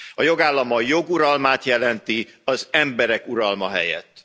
A jogállam a jog uralmát jelenti az emberek uralma helyett.